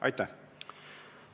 Aitäh!